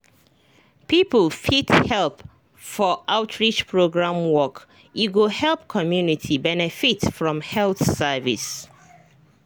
people fit help for outreach program work e go help community benefit from health service.